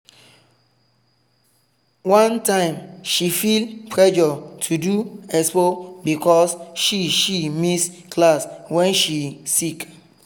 one time she feel pressure to do expo because she she miss class when she sick.